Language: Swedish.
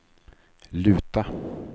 luta